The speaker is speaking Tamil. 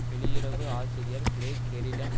வெளியுறவு ஆசிரியர் கிரெக் ஷெரிடன்